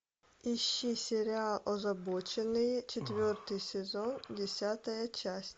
ищи сериал озабоченные четвертый сезон десятая часть